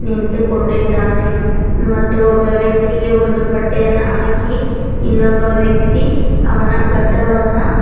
ನಿಂತುಕೊಂಡಿದ್ದಾನೆ ಮತ್ತು ಒಬ್ಬ ವ್ಯಕ್ತಿಗೆ ಒಂದು ಬಟ್ಟೆಯನ್ನು ಹಾಕಿ ಇನ್ನೊಬ್ಬ ವ್ಯಕ್ತಿ ಅವನ ಗಡ್ಡವನ್ನ.